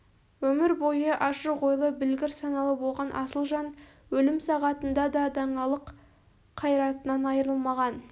өмір бойы ашық ойлы білгір саналы болған асыл жан өлім сағатында да даңалық қайратынан айырылмаған